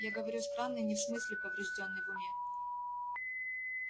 я говорю странный не в смысле повреждённый в уме